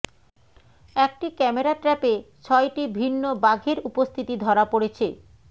একটি ক্যামেরা ট্র্যাপে ছয়টি ভিন্ন বাঘের উপস্থিতি ধরা পড়েছে